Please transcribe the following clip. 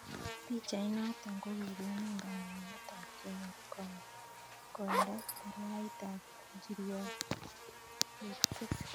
Pichait noto kokikon kamangunet ab kenyor koindo, parait ab njiriot 86.